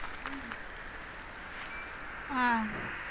உம் அஹ்